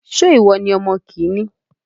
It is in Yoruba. Ṣé ìwọ ní ọmọ kìíní?